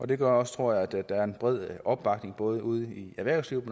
det gør også tror jeg at der er en bred opbakning både ude i erhvervslivet